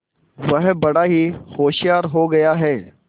वह बड़ा ही होशियार हो गया है